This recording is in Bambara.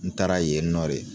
N taara yen nɔ de